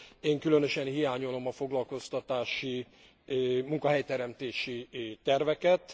Én különösen hiányolom a foglalkoztatási, munkahely teremtési terveket.